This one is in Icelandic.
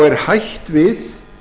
er hætt við